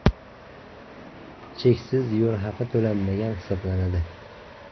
Cheksiz yo‘l haqi to‘lanmagan hisoblanadi.